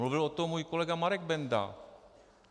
Mluvil o tom můj kolega Marek Benda.